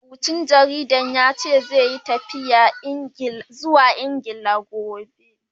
Marubucin jaridar ya ce, zai yi tafiya zuwa Ingila, jibi.